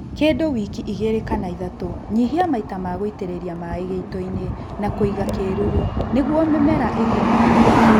Kĩndũ wiki igĩlĩ kana ithatũ nyihia maita ma gũitĩrĩlia maĩĩ gĩitoinĩ na kũiga kĩruru nĩguo mĩmera ĩgĩe na hinya